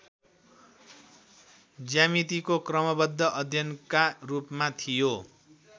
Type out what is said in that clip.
ज्यामितिको क्रमबद्ध अध्ययनका रूपमा थियो